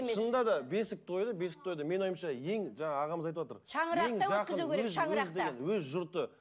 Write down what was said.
шынында да бесік тойды бесік тойды менің ойымша ең жаңағы ағамыз айтып отыр өз жұрты